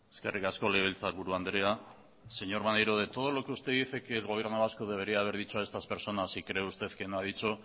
eskerrik asko legebiltzarburu andrea señor maneiro de todo lo que usted dice que el gobierno vasco debería haber dicho a estas personas y cree usted que no ha dicho